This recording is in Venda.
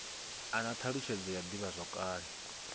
a na thalutshedzo ya divhazwakale